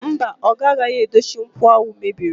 Mba, oga agaghị edochi nkwọ ahụ mebiri.